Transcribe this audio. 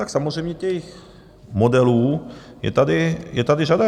Tak samozřejmě těch modelů je tady řada.